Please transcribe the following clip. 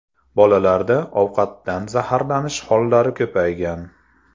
Bolalarda ovqatdan zaharlanish hollari ko‘paygan.